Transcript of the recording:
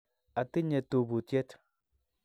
Atinye tubutyet.